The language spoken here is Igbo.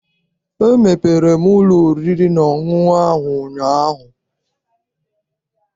Emepere m ụlọ oriri na ọṅụṅụ ahụ ụnyaahụ.